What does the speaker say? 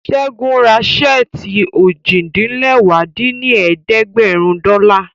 Ṣẹ́gun ra ṣẹ́ẹ̀tì ojì-din-lẹwá dín ní ẹ̀ẹ́dẹ́gbẹ́rún dọ́là